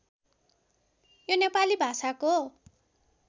यो नेपाली भाषाको